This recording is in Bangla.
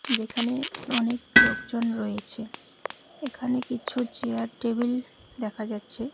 যেখানে অনেক লোকজন রয়েছে এখানে কিছু চেয়ার টেবিল দেখা যাচ্ছে।